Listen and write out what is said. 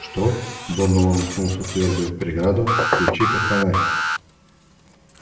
что донован уткнулся в твёрдую преграду включи-ка фонарь